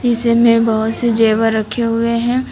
इस में बहोत से जेवर रखे हुए हैं।